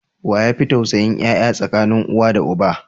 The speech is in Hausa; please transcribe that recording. Waye yafi tausayin yaya tsakanin uwa da uba?